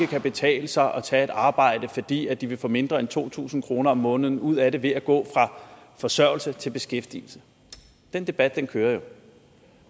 kan betale sig at tage et arbejde fordi de vil få mindre end to tusind kroner om måneden ud af det ved at gå fra forsørgelse til beskæftigelse den debat kører jo